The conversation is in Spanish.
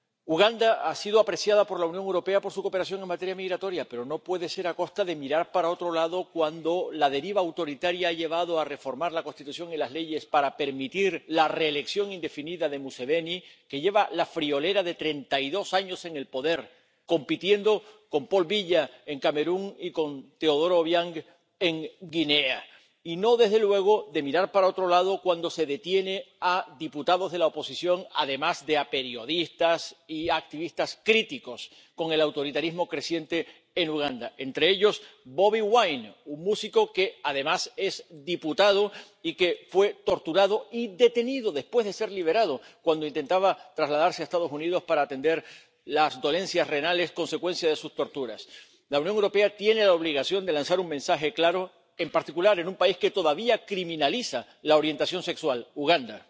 Uganda ha sido apreciada por la Unión Europea por su cooperación en materia migratoria, pero no puede ser a costa de mirar para otro lado cuando la deriva autoritaria ha llevado a reformar la Constitución y las leyes para permitir la reelección indefinida de Museveni —que lleva la friolera de treinta y dos años en el poder, compitiendo con Paul Biya en Camerún y con Teodoro Obiang en Guinea—, y no desde luego, de mirar para otro lado, cuando se detiene a diputados de la oposición, además de a periodistas y a activistas críticos con el autoritarismo creciente en Uganda, entre ellos Bobi Wine, un músico que además es diputado y que fue torturado y detenido después de ser liberado, cuando intentaba trasladarse a Estados Unidos para atender las dolencias renales consecuencia de sus torturas. La Unión Europea tiene la obligación de lanzar un mensaje claro, en particular en un país que todavía criminaliza la orientación sexual, Uganda.